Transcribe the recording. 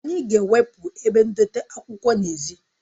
Anyị ga-ewepụ ebe ndote akwụkwọ n'èzí